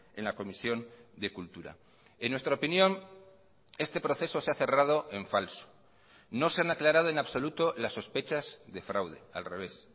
en la comisión de cultura en nuestra opinión este proceso se ha cerrado en falso no se han aclarado en absoluto las sospechas de fraude al revés